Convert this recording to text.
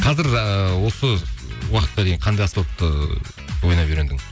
қазір ыыы осы уақытқа дейін қандай аспапты ойнап үйрендің